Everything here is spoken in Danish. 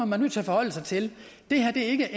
man nødt til at forholde sig til det her er ikke